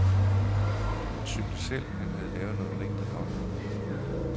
Han syntes selv, han havde lavet noget rigtig godt.